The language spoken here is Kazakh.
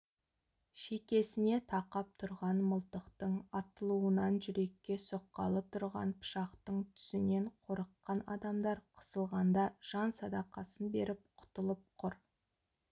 шекесіне тақап тұрған мылтықтың атылуынан жүрекке сұққалы тұрған пышақтың түсінен қорыққан адамдар қысылғанда жан садақасын беріп құтылып құр